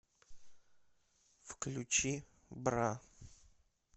включи бра